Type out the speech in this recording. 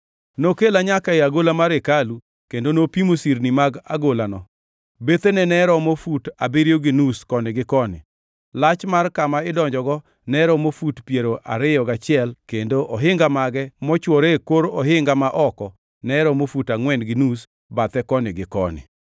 Nokela nyaka e agola mar hekalu kendo nopimo sirni mag agolano; bethene ne romo fut abiriyo gi nus koni gi koni. Lach mar kama idonjogo ne romo fut piero ariyo gachiel kendo ohinga mage mochwore e kor ohinga ma oko ne romo fut angʼwen gi nus bathe koni gi koni.